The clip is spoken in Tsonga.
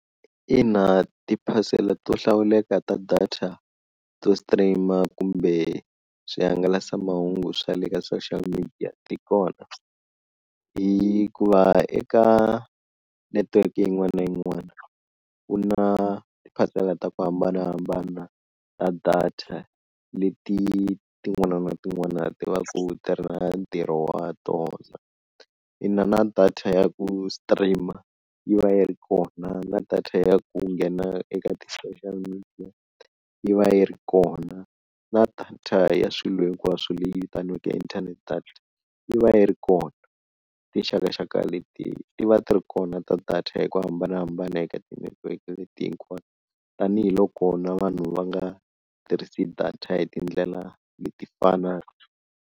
Ina ti-parcel-a to hlawuleka ta data to stream-a kumbe swihangalasamahungu swa le ka social media ti kona hi ku va eka netiweke yin'wana na yin'wana, ku na tiphasela ta ku hambanahambana ta data, leti tin'wana na tin'wana ti va ku ti ri na ntirho wa tona, ina na data ya ku stream-a yi va yi ri kona na data ya ku nghena eka ti-social media yi va yi ri kona, na data ya swilo hinkwaswo leyi vitaniwaka internet data yi va yi ri kona, tinxakaxaka leti ti va ti ri kona ta data hi ku hambanahambana eka tinetiweke leti hinkwato tanihiloko na vanhu va nga tirhisi data hi tindlela leti fanaka.